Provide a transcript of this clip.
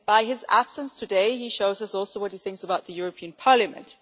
By his absence today he shows us also what he thinks about the European Parliament.